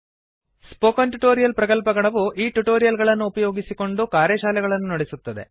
spoken tutorial ಪ್ರಕಲ್ಪಗಣವು ಈ tutorial ಗಳನ್ನು ಉಪಯೋಗಿಸಿಕೊಂಡು ಕಾರ್ಯಶಾಲೆಗಳನ್ನು ನಡೆಸುತ್ತದೆ